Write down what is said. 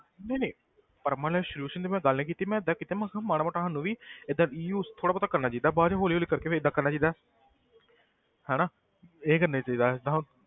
ਨਹੀਂ ਨਹੀਂ permanent solution ਦੀ ਮੈਂ ਗੱਲ ਨੀ ਕੀਤੀ ਮੈਂ ਏਦਾਂ ਕੀਤਾ ਮੈਂ ਕਿਹਾ ਮਾੜਾ ਮੋਟਾ ਸਾਨੂੰ ਵੀ ਏਦਾਂ reuse ਥੋੜ੍ਹਾ ਬਹੁਤ ਕਰਨਾ ਚਾਹੀਦਾ ਬਾਅਦ ਚੋਂ ਹੌਲੀ ਹੌਲੀ ਕਰਕੇ ਫਿਰ ਏਦਾਂ ਕਰਨਾ ਚਾਹੀਦਾ ਹਨਾ ਇਹ ਕਰਨਾ ਚਾਹੀਦਾ ਜਿੱਦਾਂ ਹੁਣ,